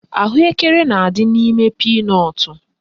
Ahụekere na-adị n'ime pinọtụ